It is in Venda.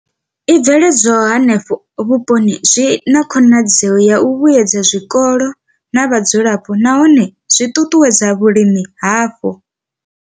I bveledzwaho henefho vhuponi zwi na khonadzeo ya u vhuedza zwikolo na vhadzulapo nahone zwi ṱuṱuwedza vhulimi hapo.